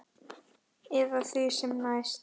Eða því sem næst.